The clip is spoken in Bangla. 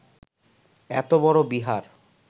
এত বড় বিহার